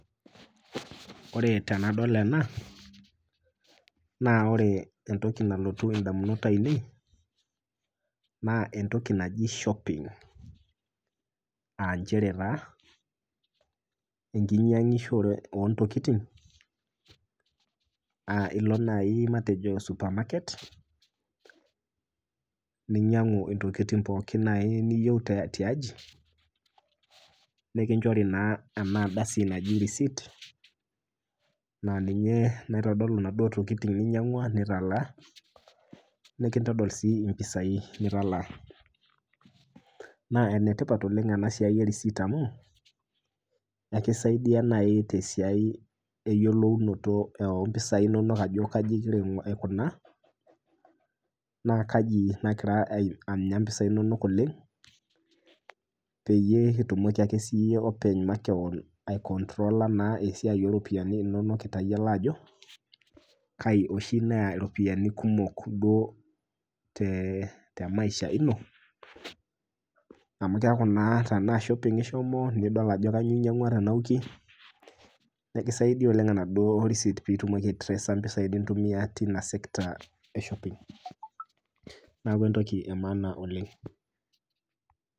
Ore tenadol ena naa ore entoki nalotu indamunot ainei naa entoki naji shopping. Aanchere taa enkinyang'isho oontokitin [aa] ilo nai matejo supamaket ninyang'u intokitin pookin niyou nai tiai tiaji nikinchori naa ena ardasi naji receipt naa ninye naitodolu naduo tokitin ninyang'ua nitalaa, nekintodol sii impisai nitalaa. Naa enetipat oleng' enasiai e receipt amu eikisaidia nai tesiai eyiolounoto ompisai inonok ajo kaji igira aikunaa naa kaji nagira anya impisai inonok oleng' peyie itumoki ake siyie openy makewon aikontrola naa esiai oropiani inonok itayiolo ajo kai oshi neya iropiani kumok duo tee temaisha ino amu keaku naa tenaa shopping ishomo nidol ajo kanyoo inyang'ua tena wiki, nekisaidia oleng' enaduo receipt piitumoki aitreesa impisai nintumia tina  sekta e shopping, neaku entoki emaana oleng'.